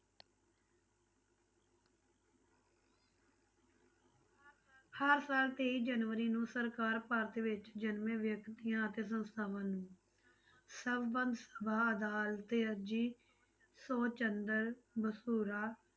ਹਰ ਸਾਲ ਤੇਈ ਜਨਵਰੀ ਨੂੰ ਸਰਕਾਰ ਭਾਰਤ ਵਿੱਚ ਜਨਮੇ ਵਿਅਕਤੀਆਂ ਅਤੇ ਸੰਸਥਾਵਾਂ ਨੂੰ ਸਭਾ ਅਦਾਲਤ ਅਰਜੀ ਸੌ ਚੰਦਰ